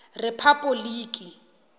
rephapoliki